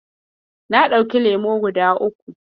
Na ɗauki lemo guda uku.